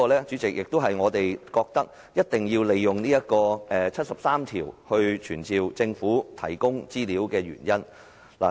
主席，這是我們認為必須根據《基本法》第七十三條傳召政府提供資料的原因。